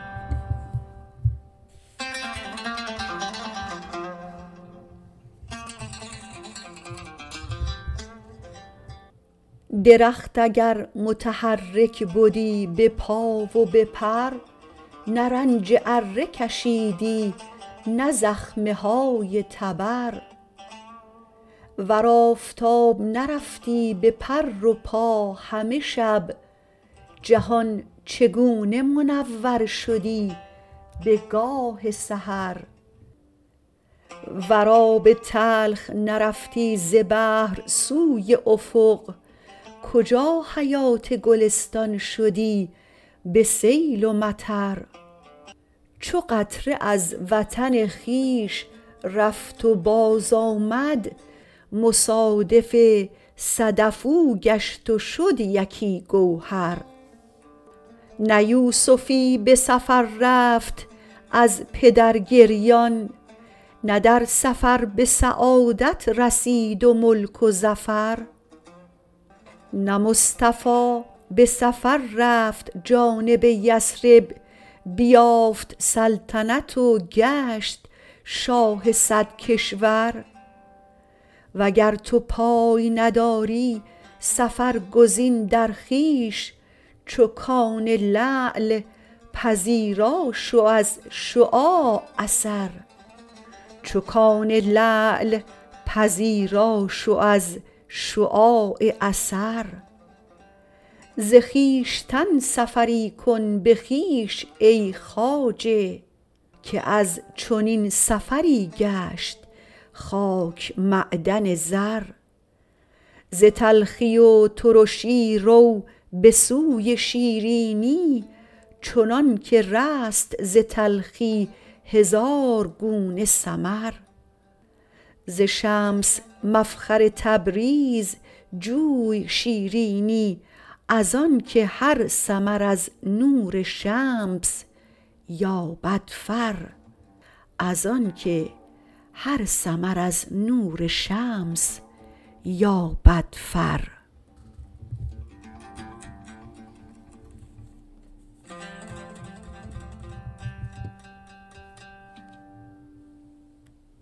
درخت اگر متحرک بدی به پا و به پر نه رنج اره کشیدی نه زخمه های تبر ور آفتاب نرفتی به پر و پا همه شب جهان چگونه منور شدی بگاه سحر ور آب تلخ نرفتی ز بحر سوی افق کجا حیات گلستان شدی به سیل و مطر چو قطره از وطن خویش رفت و بازآمد مصادف صدف او گشت و شد یکی گوهر نه یوسفی به سفر رفت از پدر گریان نه در سفر به سعادت رسید و ملک و ظفر نه مصطفی به سفر رفت جانب یثرب بیافت سلطنت و گشت شاه صد کشور وگر تو پای نداری سفر گزین در خویش چو کان لعل پذیرا شو از شعاع اثر ز خویشتن سفری کن به خویش ای خواجه که از چنین سفری گشت خاک معدن زر ز تلخی و ترشی رو به سوی شیرینی چنانک رست ز تلخی هزار گونه ثمر ز شمس مفخر تبریز جوی شیرینی از آنک هر ثمر از نور شمس یابد فر